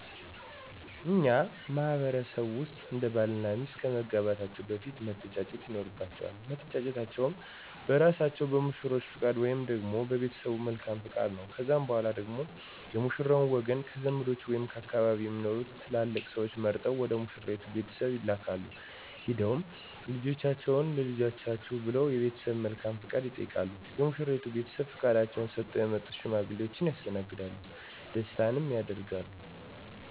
በእኛ ማህበረሰብ ውስጥ አንድ ባል እና ሚስት ከመጋባታቸው በፊት መተጫጨት ይኖርባቸዋል። መተጫጨታቸውም በእራሳቸው በሙሽሮቹ ፈቃድ ወይንም ደግሞ በቤተሰቦቻቸው መልካም ፈቃድ ነው። ከዛም በኋላ ደግሞ የሙሽራው ወገን ከዘመዶቹ ወይም ከአካባቢው ከሚኖሩ ትላላቅ ስዎች መርጠው ወደ ሙሽራይቱ ቤተሰቦች ይላካሉ፤ ሄደውም ልጃችንን ለልጃችሁ ብለው የቤተሰቦቿን መልካም ፈቃድ ይጠይቃሉ። የሙሽራይቱ ቤተሰቦችም ፈቃዳቸውን ሰጥተው የመጡትን ሽማግሌዎች ያስተናግዳሉ ደስታንም ያደርጋሉ።